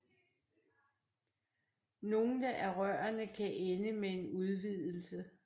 Nogle af rørene kan ende med en udvidelse